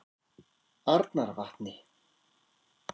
Arnarvatni